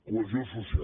cohesió social